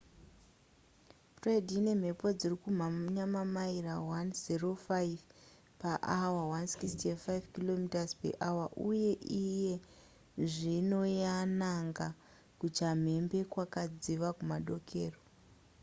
fred ine mhepo dziri kumhanya mamaira 105 paawa165 km/hr uye iye zvino yananga kuchamhembe kwakadziva kumadokero